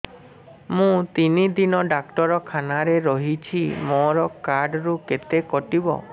ମୁଁ ତିନି ଦିନ ଡାକ୍ତର ଖାନାରେ ରହିଛି ମୋର କାର୍ଡ ରୁ କେତେ କଟିବ